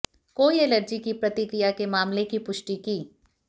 कोई एलर्जी की प्रतिक्रिया के मामले की पुष्टि की